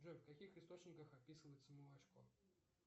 джой в каких источниках описывается молочко